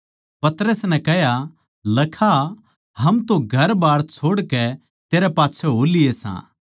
पतरस नै कह्या लखा हम तो घरबार छोड़कै तेरै पाच्छै हो लिये सां